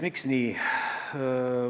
Miks nii?